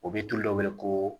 O bɛ tulu dɔ wele ko